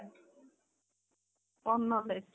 କଣ knowledge